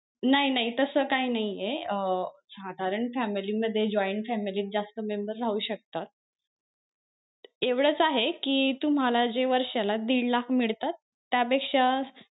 नाही नाही तस काही नाहीये अं साधारण family मध्ये joint family मध्ये जास्त member शकतात एवढंच आहे कि तुम्हाला जे तुम्हाला वर्षाला दीड लाख मिळतात त्या पेक्षा,